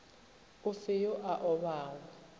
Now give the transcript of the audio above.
o fe yo a obago